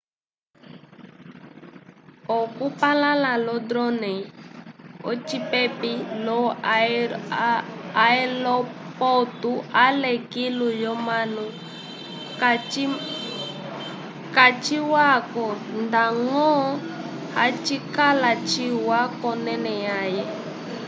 okupalãla lo-drone ocipepi lo-aelopotu ale kilu lyomanu kaciwa-ko ndañgo hacikala ciwa k'onẽle yãhe